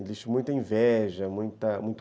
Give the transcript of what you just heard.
Existe muita inveja, muita, muito